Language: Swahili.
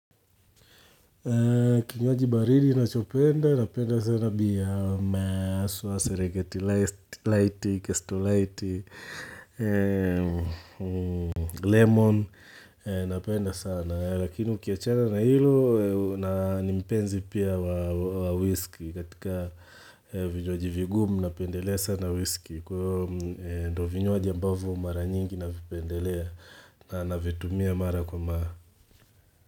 Kinywaji baridi nachopenda, napenda sana bia, maswa, seregeti laiti, kastrolaiti, lemon, napenda sana. Lakini ukiachana na hilo, na ni mpenzi pia wa whisky katika vinywaji vigumu napendelea sana whisky. Kwa hiyo ndo vinywaji ambavyo mara nyingi napendelea na navitumia mara kwa mara.